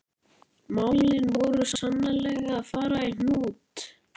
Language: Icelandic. Málin voru sannarlega að fara í hnút.